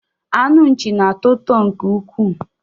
Anụ nchi na-atọ ụtọ nke ukwuu